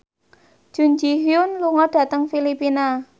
Jun Ji Hyun lunga dhateng Filipina